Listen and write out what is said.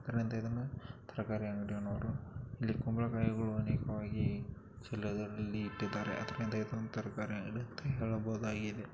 ಇದರಿಂದ ಇದನ್ನ ತರಕಾರಿ ಅಂಗಡಿಯವರು ಇಲ್ಲಿ ಕುಂಬಳಕಾಯಿಗಳು ಅನೇಕವಾಗಿ ಚೀಲದಲ್ಲಿ ಇಟ್ಟಿದಾರೆ ಇದನ್ನ ಅದರಿಂದ ಇದನ್ನ ತರಕಾರಿ ಅಂಗಡಿ ಎಂದು ಹೇಳಬಹುದಾಗಿದೆ.